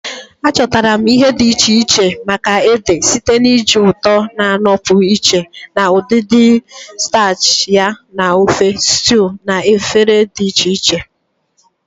Achọtara m ihe dị iche iche maka ede site na iji ụtọ na-anọpụ iche na udidi starchy ya na ofe, stews, na efere dị iche iche.